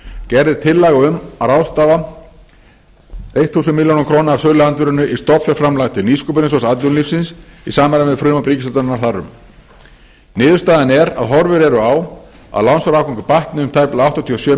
gerð er tillaga um að ráðstafa þúsund milljónir króna af söluandvirðinu í stofnfjárframlag til nýsköpunarsjóðs atvinnulífsins í samræmi við frumvarp ríkisstjórnarinnar þar um niðurstaðan er að horfur eru á að lánsfjárafgangur batni um tæpa áttatíu og sjö